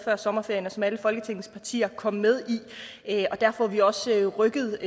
før sommerferien og som alle folketingets partier kom med i og derfor er vi også rykket